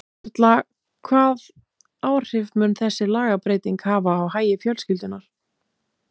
Erla, hvað áhrif mun þessi lagabreyting hafa á hagi fjölskyldunnar?